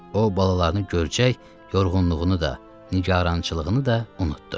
O balalarını görəcək yorğunluğunu da, nigarançılığını da unutdu.